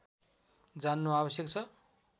जान्नु आवश्यक छ